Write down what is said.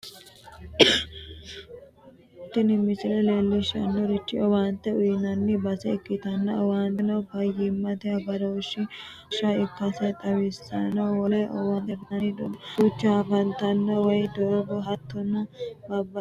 tini misile leellishshannorichi owaante uyiinanni base ikkitanna owaanteno fayyimmate agarooshshi uurrinshsha ikkase xawissanno woleno owaante afi'nanni doogo duucha afantanno wayii, doogo, hattono babbaxxitino owaante heedhanno.